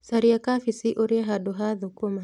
Caria kabici ũrĩe handũ ha thũkũma